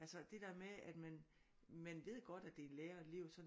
Altså det der med at man man ved godt at det er lærer og elev og sådan